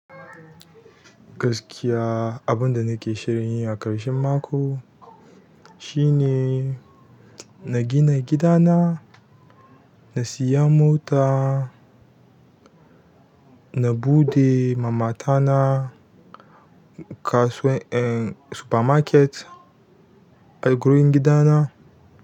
Gaskiya abunda nake shirin yi a ƙarshen mako shine na gina gidana, na siya mota, na buɗe ma mata na kasu-- en supermarket a gurin gidana.